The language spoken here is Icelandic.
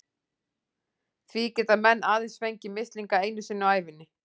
Því geta menn aðeins fengið mislinga einu sinni á ævinni.